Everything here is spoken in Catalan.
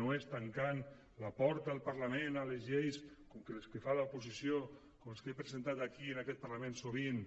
no és tancant la porta del parlament a les lleis com les que fa l’oposició com les que he presentat aquí en aquest parlament sovint